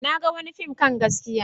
Na ga wani fim kan gaskiya.